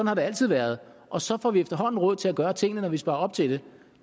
har det altid været og så får vi efterhånden råd til at gøre tingene når vi sparer op til det